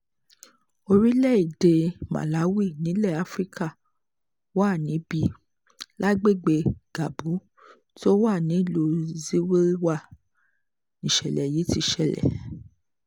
orílẹ̀‐èdè màláwì nílẹ̀ afrika wà níbí lágbègbè ngabu tó wà nílùú ziwilwa níṣẹ̀lẹ̀ yìí ti ṣẹlẹ̀